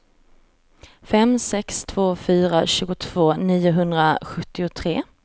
fem sex två fyra tjugotvå niohundrasjuttiotre